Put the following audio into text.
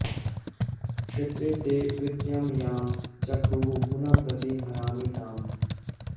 क्षेत्रे॑ ते॑ कृ॒त्यां यां च॒क्रुः पुनः॒ प्रति॑ हरामि॒ ताम्